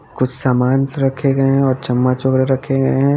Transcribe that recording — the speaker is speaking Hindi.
कुछ समांस रखे गए हैं और चम्मच वगैरा रखे हैं।